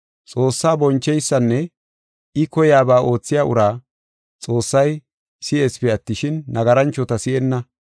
Xoossaa boncheysanne I koyaba oothiya uraa Xoossay si7eesipe attishin, nagaranchota si7enna.